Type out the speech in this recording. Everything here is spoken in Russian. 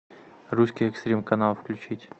русский экстрим канал включить